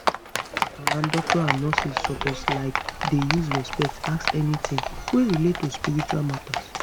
ah ah doctors and nurses suppose like dey use respect ask anytin wey relate to spiritual matter